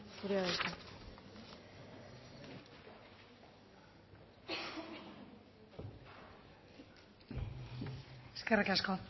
zurea da hitza eskerrik asko